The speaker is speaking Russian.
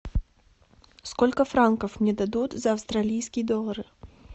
сколько франков мне дадут за австралийские доллары